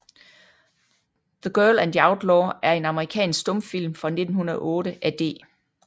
The Girl and the Outlaw er en amerikansk stumfilm fra 1908 af D